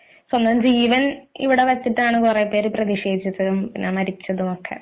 പിന്നെ ജീവൻ ഇവിടെവച്ചിട്ടാണ് കുറേപേർ പ്രതിഷേധിച്ചതും മരിച്ചതും ഒക്കെ